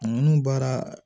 Ninnu baara